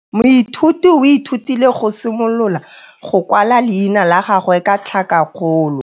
Moithuti o ithutile go simolola go kwala leina la gagwe ka tlhakakgolo.